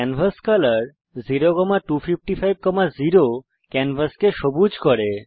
canvas color 02550 ক্যানভাসকে সবুজ করে